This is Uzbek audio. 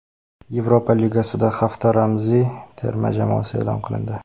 Yevropa Ligasida hafta ramziy terma jamoasi e’lon qilindi !